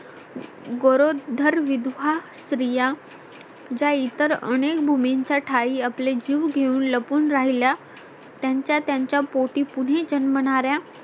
गरोदर विधवा स्त्रिया ज्या इतर अनेक भूमीच्या ठाई आपले जीव घेऊन लपून राहिल्या त्यांच्या त्यांच्या पोटी पुनः जन्मनार्‍या